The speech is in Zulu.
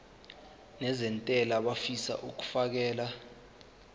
nezentela abafisa uukfakela